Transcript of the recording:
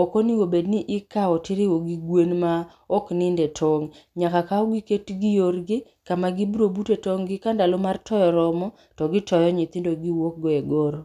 okonego bed ni ikao tiriwo gi gwen ma okninde tong'. Nyaka kaugi ketgi yorgi kama gibro bute tong'gi, ka ndalo mar toyo oromo, to gitoyo nyithindo giwuok go e goro.